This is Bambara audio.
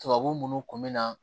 Tubabu munnu kun mi na